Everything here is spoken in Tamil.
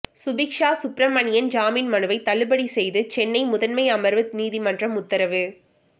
சுபிக்சா சுப்பிரமணியன் ஜாமீன் மனுவை தள்ளுபடி செய்து சென்னை முதன்மை அமர்வு நீதிமன்றம் உத்தரவு